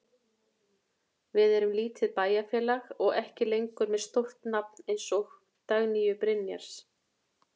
Við erum lítið bæjarfélag og ekki lengur með stórt nafn eins og Dagnýju Brynjars.